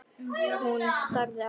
Hún starði á hana.